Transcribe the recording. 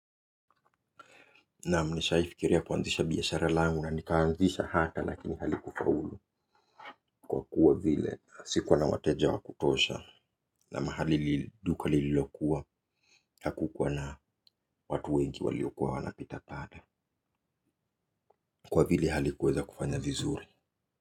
Naam nishawahi fikiria kuanzisha biashara langu na nikaanzisha hata lakini halikufaulu kwa kuwa vile sikuwa na wateja wa kutosha na mahali duka lililokuwa hakukuwa na watu wengi waliokuwa wanapita pale kwa vile halikuweza kufanya vizuri.